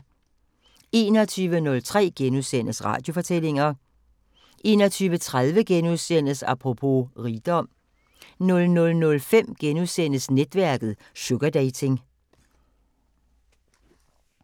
21:03: Radiofortællinger * 21:30: Apropos . rigdom * 00:05: Netværket: Sugardating *